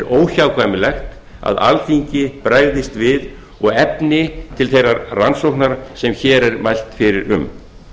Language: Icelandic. óhjákvæmilegt að alþingi bregðist við og efni til þeirrar rannsóknar sem hér er mælt fyrir um